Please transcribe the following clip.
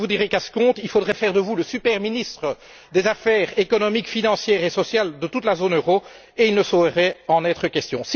Je vous dirais qu'à ce compte, il faudrait faire de vous le super ministre des affaires économiques, financières et sociales de toute la zone euro et il ne saurait en être question.